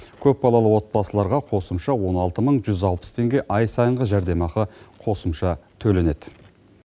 көпбалалы отбасыларға қосымша он алты мың жүз алпыс теңге ай сайынғы жәрдемақы қосымша төленеді